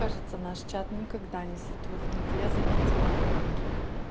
кажется наш чат никогда не затухнет я заметила